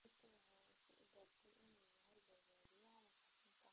Ruto waxa uu isu gartay in uu yahay badbaadiyaha masaakiinta.